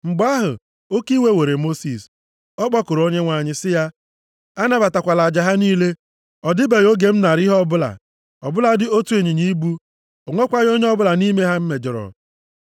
Mgbe ahụ, oke iwe were Mosis. Ọ kpọkuru Onyenwe anyị sị ya, “Anabatakwala aja ha niile! Ọ dịbeghị oge m naara ha ihe ọbụla, ọbụladị otu ịnyịnya ibu! O nwekwaghị onye ọbụla nʼime ha m mejọrọ.”